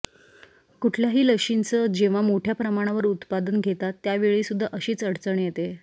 कुठल्याही लशीचं जेव्हा मोठ्या प्रमाणावर उत्पादन घेतात त्यावेळीसुद्धा अशीच अडचण येते